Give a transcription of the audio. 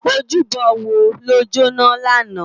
Ójúbò wó ló jóná làná?